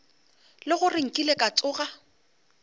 le gore nkile ka tsoga